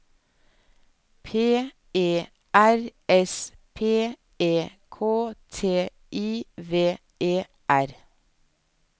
P E R S P E K T I V E R